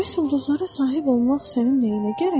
Bəs ulduzlara sahib olmaq sənin nəyinə gərəkdir?